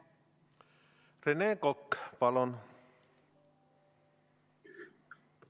Rene Kokk, palun!